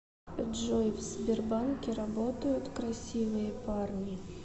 джой в сбербанке работают красивые парни